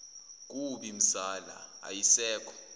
kubi mzala ayisekho